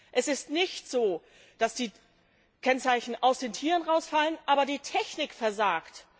Es ist nicht so, dass die Kennzeichen aus den Tieren rausfallen, aber die Technik versagt.